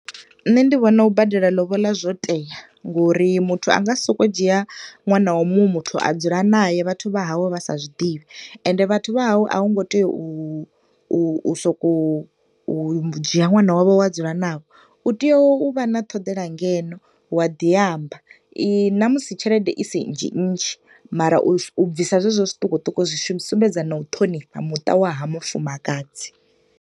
Nṋe ndi vhona u badela lobola zwo tea ngo uri muthu a nga si soko u dzhia ṅwana wa muṅwe muthu a dzula nae vhathu vha hawe vha sa zwi ḓivhi, ende vhathu vha hawe a u ngo tea u u u soko u dzhia ṅwana wa vho wa dzula navho. U tea u vha na ṱhoḓela ngeno wa ḓi amba, na musi tshelede isi nnzhi nnzhi, u bvisa zwezwo zwiṱukuṱuku zwi sumbedza na u ṱhonifha muta wa ha mufukadzi.